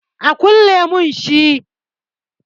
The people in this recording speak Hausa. A kulle mun shi